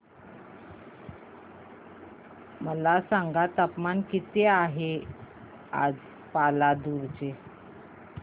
मला सांगा तापमान किती आहे आज पालांदूर चे